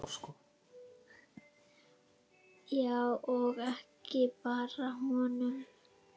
Já, og ekki bara honum.